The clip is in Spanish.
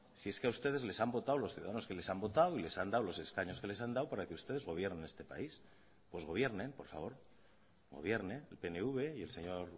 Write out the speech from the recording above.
si es que a ustedes les han votado los ciudadanos que les han votado y les han dado los escaños que les han dado para que ustedes gobiernen este país pues gobiernen por favor gobierne el pnv y el señor